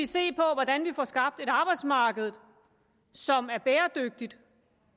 se på hvordan vi får skabt et arbejdsmarked som er bæredygtigt og